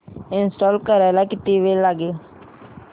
install करायला किती वेळ लागेल